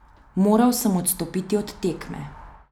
Moral sem odstopiti od tekme.